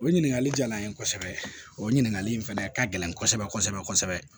O ɲininkali diyara n ye kosɛbɛ o ɲininkali in fana ka gɛlɛn kosɛbɛ kosɛbɛ